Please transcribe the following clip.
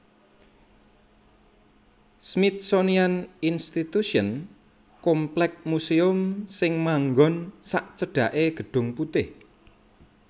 Smithsonian Institution komplek muséum sing manggon sacedhake Gedung Putih